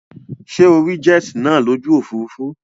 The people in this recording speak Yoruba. Sé o rí jet nàá lójú òfurufú